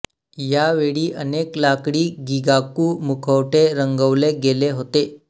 यावेळी अनेक लाकडी गिगाकू मुखवटे रंगवले गेले होते